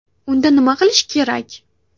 Unda nima qilish kerak?